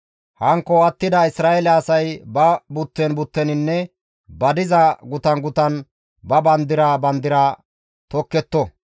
Hankko attida Isra7eele asay ba butten butteninne ba diza gutan gutan ba bandira bandira tokketto.